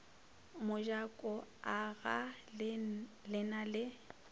mojako agaa le na le